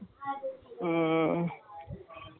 ம்ம்.